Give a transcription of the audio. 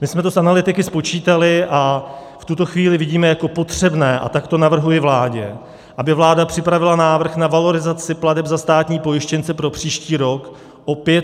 My jsme to s analytiky spočítali a v tuto chvíli vidíme jako potřebné, a tak to navrhuji vládě, aby vláda připravila návrh na valorizaci plateb za státní pojištěnce pro příští rok o 500 korun.